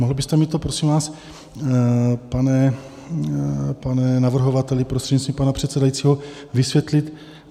Mohl byste mi to, prosím vás, pane navrhovateli, prostřednictvím pana předsedajícího, vysvětlit?